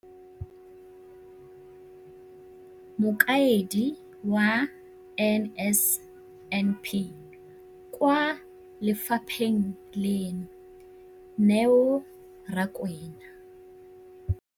Mokaedi wa NSNP kwa lefapheng leno, Neo Rakwena,